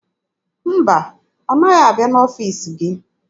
Mba, ọ naghị abịa n'ọfiisi gị.